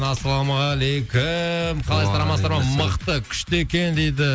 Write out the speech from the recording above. ассалаумағалейкум уағалейкумассалам қалайсыздар амансыздар ма мықты күшті екен дейді